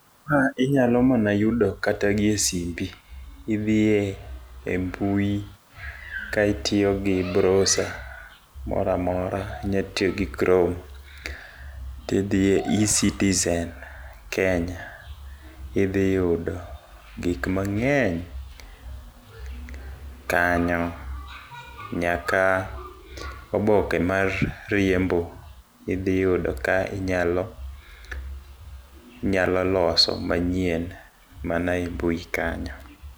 Ka inyalo mana yudo kata gi e simbi. Idhiye e mbui kan itiyogi browser moramora inya tiyogi chrome , tidhiye e-citizen kenya idhi yudo gik mang'eny kanyo nyaka oboke mar riembo , idhi yudo ka inyalo inyalo loso manyien mana e mbui kanyo.